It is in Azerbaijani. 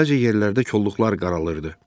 Bəzi yerlərdə kolluqlar qaralırdı.